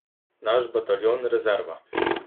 Naš bataljon rezerva.